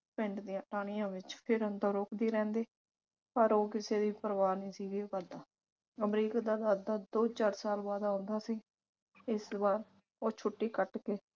ਪਿੰਡ ਦੀਆਂ ਟਾਹਣੀਆਂ ਵਿਚ ਫਿਰਨ ਤੋਂ ਰੋਕਦੀ ਰਹਿੰਦੀ ਪਰ ਉਹ ਕਿਸੇ ਦੀ ਪਰਵਾਹ ਨਹੀਂ ਸੀ ਗਿਓ ਕਰਦਾ। ਅਮਰੀਕ ਦਾ ਦਾਦਾ ਦੋ ਚਾਰ ਸਾਲ ਬਾਅਦ ਆਉਂਦਾ ਸੀ ਇਸ ਵਾਰ ਉਹ ਛੁੱਟੀ ਕੱਟ ਕੇ